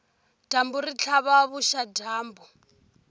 dyambu ri tlhava vuxadyambu